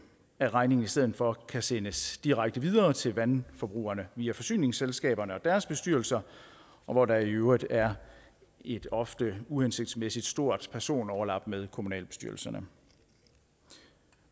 at regningen i stedet for kan sendes direkte videre til vandforbrugerne via forsyningsselskaberne og deres bestyrelser og hvor der i øvrigt er et ofte uhensigtsmæssig stort personoverlap med kommunalbestyrelserne